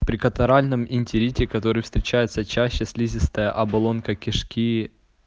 при катаральном энтерите которые встречаются чаще слизистая оболочка кишки